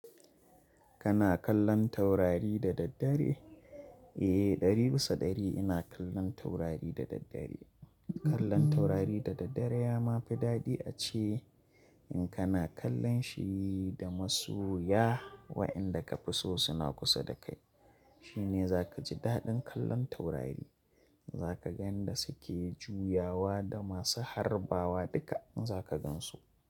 Kana kallon taurari da daddare? Eh, ɗari bisa ɗari ina kallon taurari da daddare. Kallon taurari da daddare ya ma fi daɗi ace in kana kallon shi da masoya, waɗanda ka fi so suna kusa da kai. Shine za ka ji daɗin kallon taurari, za ka yan da suke juyawa da masu harbawa duka za ka gan su.